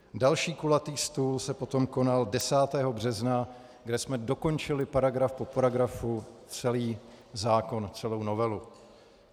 Další kulatý stůl se potom konal 10. března, kde jsme dokončili, paragraf po paragrafu, celý zákon, celou novelu.